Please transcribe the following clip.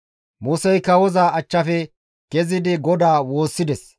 Musey kawoza achchafe kezidi GODAA woossides.